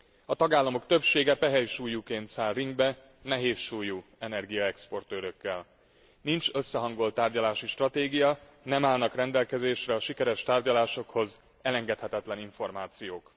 A tagállamok többsége pehelysúlyúként száll ringbe nehézsúlyú energiaexportőrökkel. Nincs összehangolt tárgyalási stratégia, nem állnak rendelkezésre a sikeres tárgyalásokhoz elengedhetetlen információk.